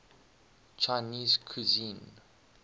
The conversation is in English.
chinese cuisine